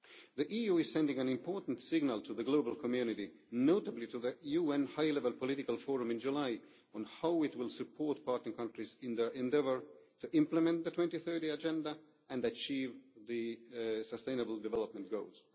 The EU is sending an important signal to the global community, notably to the UN High Level Political Forum in July, on how it will support partner countries in their endeavour to implement the 2030 Agenda and achieve the sustainable development goals.